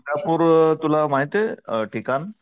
गाणगापूर तुला माहितेय ठिकाण?